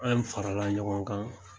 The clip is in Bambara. An farala ɲɔgɔn kan.